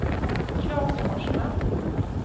Klas Forsman